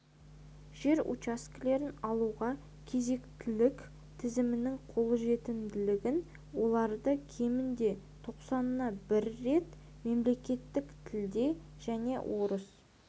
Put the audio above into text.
жер учаскелерін алуға кезектілік тізімінің қолжетімділігін оларды кемінде тоқсанына бір рет мемлекеттік тілде және орыс